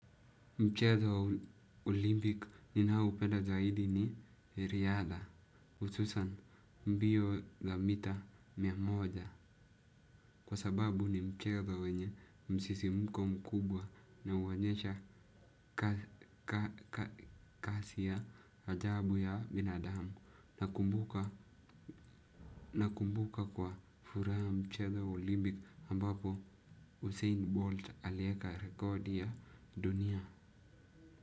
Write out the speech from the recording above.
Mchezo wa olympic ninaopenda zaidi ni riadha, hususan mbio za mita mia moja, kwa sababu ni mchezo wenye msisimko mkubwa na huonyesha kasi ya ajabu ya binadamu, nakumbuka nakumbuka kwa furaha mchezo wa olympic ambapo Hussein Bolt alieka rekodi ya dunia.